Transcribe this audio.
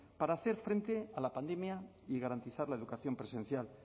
para hacer frente a la pandemia y garantizar la educación presencial